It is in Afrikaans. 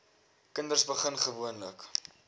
kinders begin gewoonlik